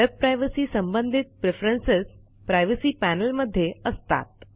web privacy संबंधित preference privacy panel मध्ये असतात